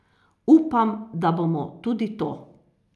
Upam, da bomo tudi to.